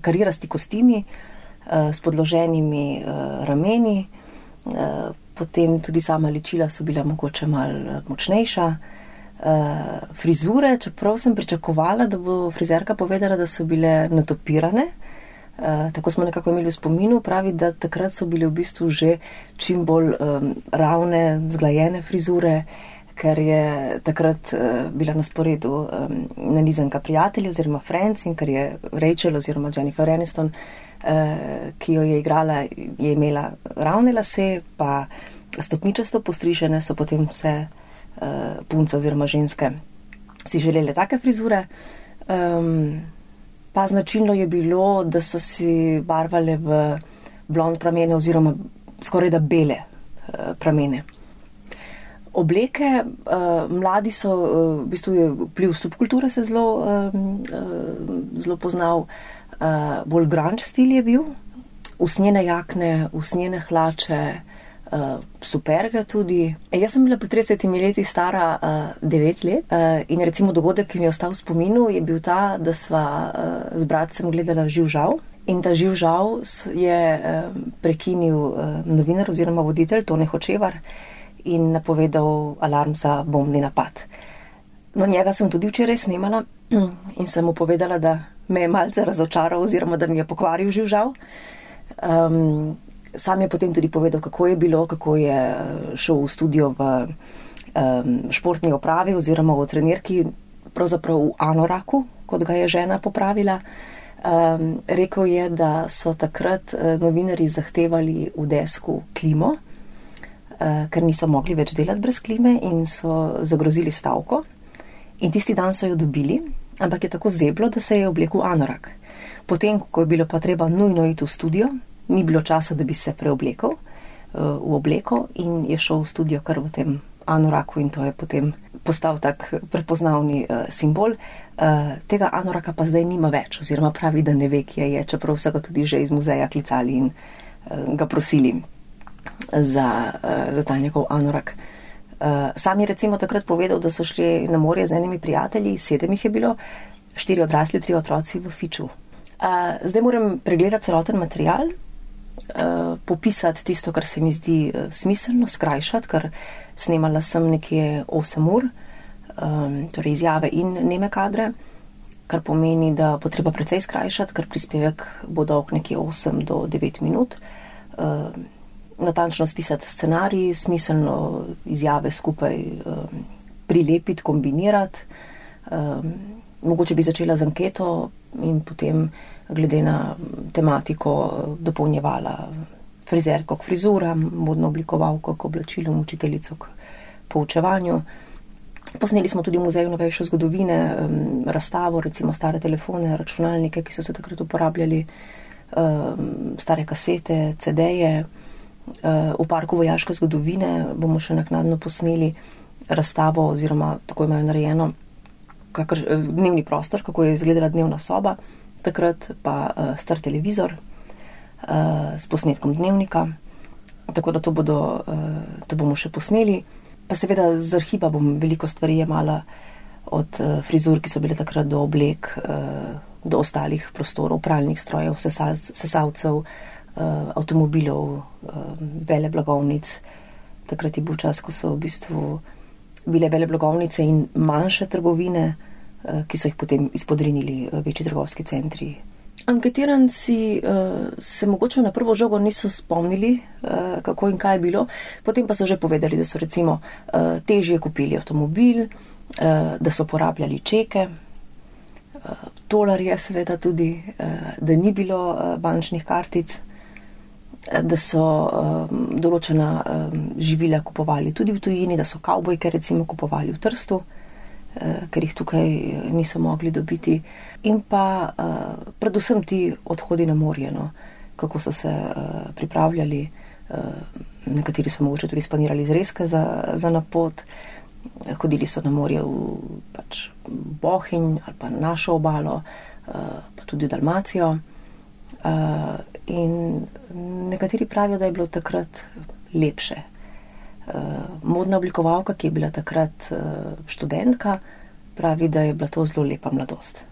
karirasti kostimi, s podloženimi, rameni, potem tudi sama ličila so bila mogoče malo, močnejša. frizure, čeprav sem pričakovala, da bo frizerka povedala, da so bile natupirane, tako smo nekako imeli v spominu, pravi, da takrat so bile v bistvu že čimbolj, ravne, zglajene frizure, ker je takrat, bila na sporedu, nanizanka Prijatelji, oziroma Friends, in ker je Rachel oziroma Jennifer Aniston, ki jo je igrala, je imela, ravne lase pa stopničasto postrižene, so potem vse, punce oziroma ženske si želele take frizure. pa značilno je bilo, da so si barvale v blond pramene oziroma skorajda bele, pramene. Obleke, mladi so, v bistvu je vpliv subkulture se zelo, zelo poznal. bolj grunge stil je bil. Usnjene jakne, usnjeni hlače, superge tudi. Jaz sem bila pred tridesetimi leti stara, devet let, in recimo dogodek, ki mi je ostal v spominu, je bil ta, da sva, z bratcem gledala Živžav. In ta Živžav je, prekinil, novinar oziroma voditelj Tone Hočevar in napovedal alarm za bombni napad. No, njega sem tudi včeraj snemala in sem mu povedala, da me je malce razočarala oziroma da mi je pokvaril Živžav. sam je potem tudi povedal, kako je bilo, kako je, šel v studio v, športni opravi oziroma v trenirki, pravzaprav v anoraku, kot ga je žena popravila. rekel je, da so takrat, novinarji zahtevali v desku klimo, ker nismo mogli več delati brez klime in so zagrozili s stavko. In tisti dan so jo dobili, ampak je tako zeblo, da se je oblekel v anorak. Potem ko je bilo pa treba nujno iti v studio, ni bilo časa, da bi se preoblekel, v obleko in je šel v studio kar v tem anoraku in to je potem postal tako prepoznaven, simbol. tega anoraka pa zdaj nima več oziroma pravi, da ne ve, kje je, čeprav so ga tudi že iz muzeja klicali in, ga prosili, za, za ta njegov anorak. sam je recimo takrat povedal, da so šli na morje z enimi prijatelji, sedem jih je bilo, štirje odrasli, trije otroci v fiču. zdaj moram pregledati celoten material, popisati tisto, kar se mi zdi, smiselno, skrajšati, ker snemala sem nekje osem ur, torej izjave in neme kadre. Kar pomeni, da bo treba precej skrajšati, ker prispevek bo dolg nekje osem do devet minut. natančno spisati scenarij, smiselno izjave skupaj, prilepiti, kombinirati. mogoče bi začela z anketo in potem glede na tematiko dopolnjevala frizerko k frizuram, modno oblikovalko k oblačilom, učiteljico k poučevanju. Posneli smo tudi Muzej novejše zgodovine, razstavo recimo stare telefone, računalnike, ki so se takrat uporabljali. stare kasete, CD-je. v Parku vojaške zgodovine bomo še naknadno posneli razstavo, oziroma tako imajo narejeno dnevni prostor, kako je izgledala dnevna soba takrat pa, star televizor, s posnetkom Dnevnika, tako da to bodo, to bomo še posneli. Pa seveda z arhiva bom veliko stvari jemala od, frizur, ki so bile takrat, do oblek, do ostalih prostorov, pralnih strojev, sesalcev, avtomobilov, veleblagovnic, takrat je bil čas, ko so v bistvu bile veleblagovnice manjše trgovine, ki so jih potem izpodrinili večji trgovski centri. Anketiranci, se mogoče na prvo žogo niso spomnili, kako in kaj je bilo, potem pa so že povedali, da so recimo, težje kupili avtomobil, da so uporabljali čeke, tolarje seveda tudi, da ni bilo, bančnih kartic, da so, določena, živila kupovali tudi v tujini, da so kavbojke recimo kupovali v Trstu, ker jih tukaj, niso mogli dobiti in pa, predvsem ti odhodi na morje, no. Kako so se, pripravljali, nekateri so mogoče tudi spanirali zrezke za, za na pot. hodili so na morje v pač, Bohinj ali pa našo obalo, pa tudi Dalmacijo. in nekateri pravijo, da je bilo takrat lepše. modna oblikovalka, ki je bila takrat, študentka, pravi, da je bila to zelo lepa mladost.